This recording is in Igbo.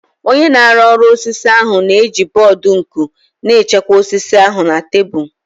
Onye na-arụ ọrụ osisi ahụ na-eji bọọdụ nku na-echekwa osisi ahụ na tebụl